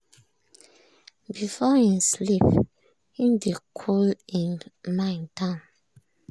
before him sleep him dey cool him mind down